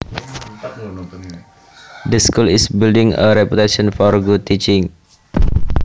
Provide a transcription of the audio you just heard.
The school is building a reputation for good teaching